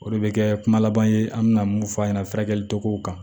O de bɛ kɛ kuma laban ye an bɛna mun fɔ a ɲɛna furakɛli togow kan